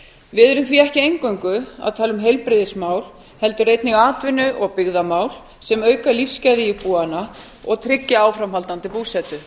erum því ekki eingöngu að tala um heilbrigðismál heldur einnig atvinnu og byggðamál sem auka lífsgæði íbúanna og tryggja áframhaldandi búsetu